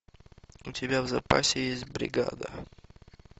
у тебя в запасе есть бригада